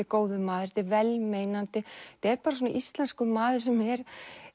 góður maður þetta er vel meinandi þetta er bara svona íslenskur maður sem er